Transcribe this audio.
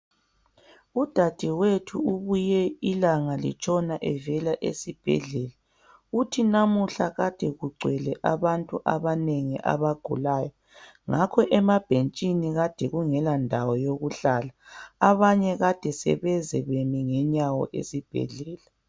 udadewethu ubuye ilanga litshona evela esibhedlela uthi namuhla ade kugcwele abantu abanengi abagulayo ngakho emabhentshini ade kungela ndawo yokuhlala abanye ade sebeze bemile ngenyawo esibhedlela